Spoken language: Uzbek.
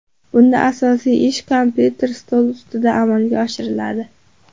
Bunda asosiy ish kompyuter stoli ustida amalga oshiriladi.